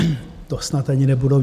To snad ani nebudou...